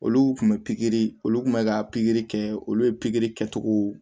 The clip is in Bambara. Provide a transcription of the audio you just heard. Olu kun bɛ pikiri olu kun bɛ ka pikiri kɛ olu ye pikiri kɛcogow